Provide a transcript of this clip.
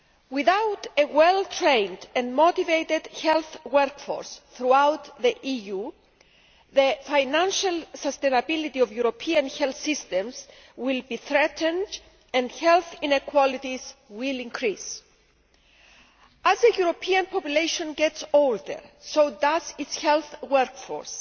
Without a well trained and motivated health workforce throughout the EU, the financial sustainability of European health systems will be threatened and health inequalities will increase. As the European population gets older, so does its health workforce,